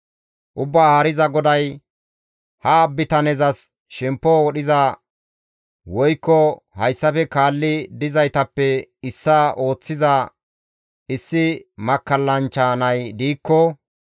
Ubbaa Haariza GODAY, «Ha bitanezas shemppo wodhiza, woykko hayssafe kaalli dizaytappe issaa ooththiza issi makkallanchcha nay de7ikko,